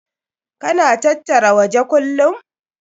Ka na tattara waje kullum?